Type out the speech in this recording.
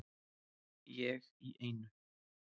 Ég í einu.